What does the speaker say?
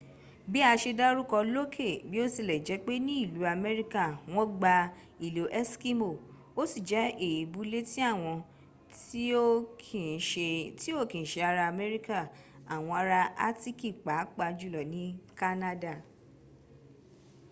bi a se daruko loke biotilejepe ni ilu amerika won gba ilo eskimo o si je eebu leti awon ti o ki n se ara amerika awon ara atiki paa pa julo ni kanada